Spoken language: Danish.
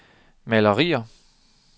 malerier